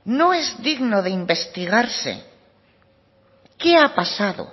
no es digno de investigarse qué ha pasado